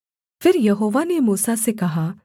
फिर यहोवा ने मूसा से कहा